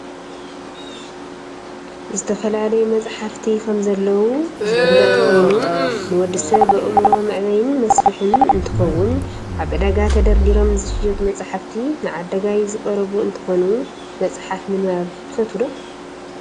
ዝተፈላለዩ መፃሕፍቲ ከምዘለዉ ዝፍለጥ ኮይኑ ንወዲ ሰብ ኣእምሮ መዕበይን መስፍሕን እንትከውን ኣብ ዕዳጋ ተደርዲሮም ዝሽየጡ መፃሕፍቲ ንዓዳጋይ ዝቀረቡ እንትኮኑ፣ መፅሓፍ ምንባብ ትፈትዉ ዶ?